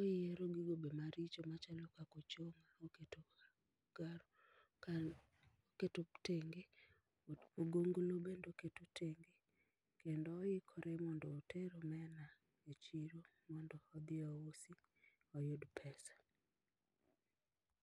Oyiero gigo be maricho machalo kaka ochonga ka oketo tenge ogonglo bende oketo tenge kendo oikore mondo oter omena e chiro mondo odhi ousi oyud pesa